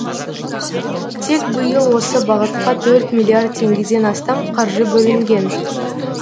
тек биыл осы бағытқа төрт миллиард теңгеден астам қаржы бөлінген